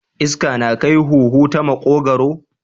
Iska na kai huhu ta makogwaro.